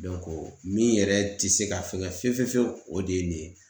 min yɛrɛ te se ka fɛngɛ fiye fiye fiyewu , o de ye nin ye.